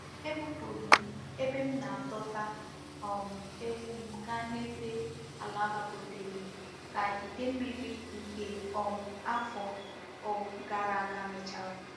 Ebupuru m ebe m na-edota um ewu m gaa n'ebe ala gbagotere ka ide mmiri nke um afo um gara aga mechara.